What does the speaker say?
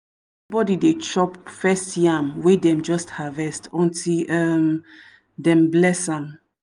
body dey chop first yam wey dem just harvest until um dem bless am.